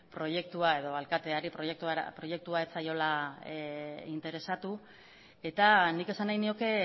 proiektua edo alkateari proiektua ez zaiola interesatu eta nik esan nahi nioke